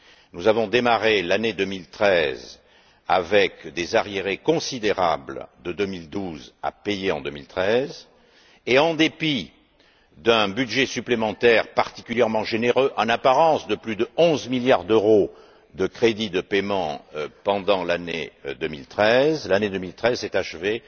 Nous avons démarré l'année 2013 avec des arriérés considérables de 2012, à payer en 2013, et en dépit d'un budget supplémentaire particulièrement généreux en apparence, de plus de 11milliards d'euros de crédits de paiement pendant l'année 2013, celle ci s'est achevée